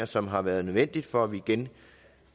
som har været nødvendige for at vi igen